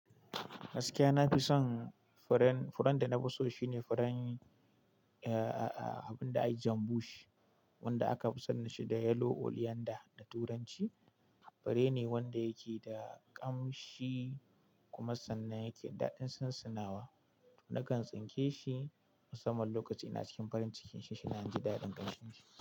Gaskiya na fi son fure, furen da na fi so shine furen ahh abun da ake cema bush, wanda aka fi sanin shi da yellow coriander da turanci. Fure ne wanda yake da kamshi kuma sannan yake daɗin sansinawa. Nakan tsinke shi musamman lokacin ina cikin farin cikin shi shina na ji daɗin kamshin shi.